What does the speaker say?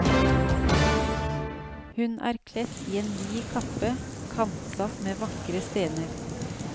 Hun er kledt i en vid kappe, kantsatt med vakre stener.